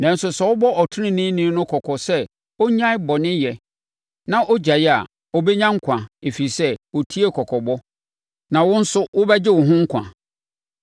Nanso sɛ wobɔ ɔteneneeni no kɔkɔ sɛ ɔnnyae bɔneyɛ na ɔgyae a, ɔbɛnya nkwa, ɛfiri sɛ ɔtiee kɔkɔbɔ, na wo nso wobɛgye wo ho nkwa.”